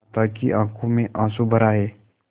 माता की आँखों में आँसू भर आये